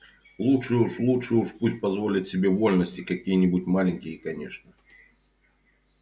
лучше уж лучше уж пусть позволит себе вольности какие-нибудь маленькие конечно